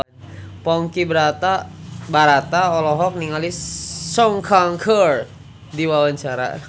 Ponky Brata olohok ningali Sun Kang keur diwawancara